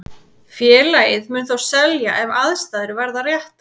Félagið mun þó selja ef aðstæður verða réttar.